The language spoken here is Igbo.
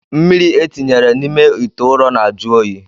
Mmiri etinyere n'ime itè ụrọ na-ajụ oyi.